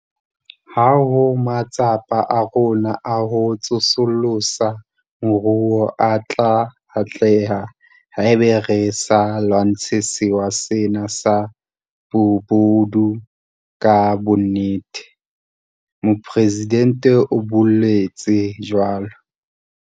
Ha ho matsapa a rona a ho tsosolosa moruo a tla atleha haeba re sa lwantshe sewa sena sa bobodu ka bonnete, Mopresidente o boletse jwalo.